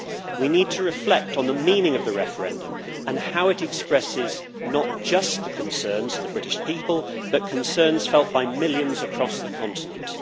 We need to reflect on the meaning of the referendum and how it expresses not just the concerns of the British people, but concerns felt by millions across the continent.